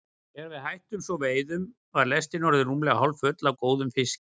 Þegar við hættum svo veiðunum var lestin orðin rúmlega hálffull af góðum fiski.